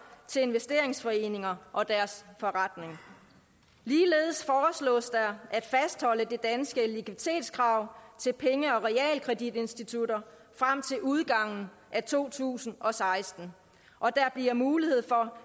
til investeringsforeninger og deres forretning ligeledes foreslås der at fastholde det danske likviditetskrav til penge og realkreditinstitutter frem til udgangen af to tusind og seksten og der bliver mulighed for